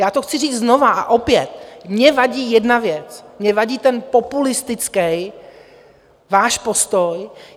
Já to chci říct znova a opět, mně vadí jedna věc, mně vadí ten populistický váš postoj.